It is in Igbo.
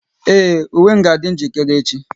Ee, uwe m ga adi njirikere echi